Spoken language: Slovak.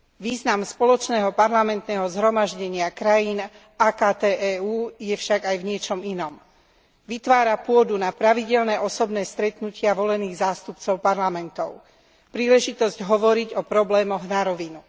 Význam Spoločného parlamentného zhromaždenia krajín AKT EÚ je však aj v niečom inom vytvára pôdu na pravidelné osobné stretnutia volených zástupcov parlamentov, príležitosť hovoriť o problémoch na rovinu.